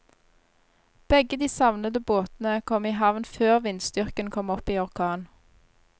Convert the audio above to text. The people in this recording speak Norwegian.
Begge de savnede båtene kom i havn før vindstyrken kom opp i orkan.